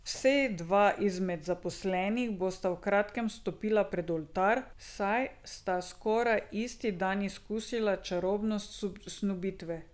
Vsej dva izmed zaposlenih bosta v kratkem stopila pred oltar, saj sta skoraj isti dan izkusila čarobnost snubitve.